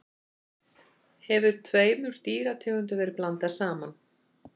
hefur tveimur dýrategundum verið blandað saman